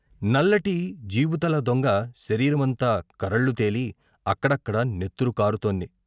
నల్లటి జీబుతల దొంగ శరీరమంతా కరళ్లు తేలి అక్కడక్కడా నెత్తురు కారుతోంది.